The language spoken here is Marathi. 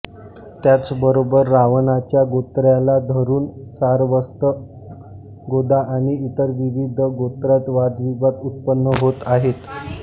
त्याच बरोबर रावणाच्या गोत्राला धरून सारस्वत गोदा आणि इतर विविध गोत्रात वादविवाद उत्पन्न होत आहेत